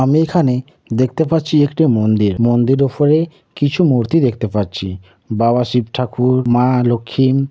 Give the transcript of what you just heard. আমি এখানে দেখতে পাচ্ছি। একটিই মন্দির মন্দিরের উফরে কিছু মূর্তি দেখতে পাচ্ছি। বাবা শিব ঠাকুর মা লক্ষ্মী।